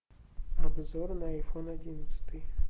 обзор на айфон одиннадцатый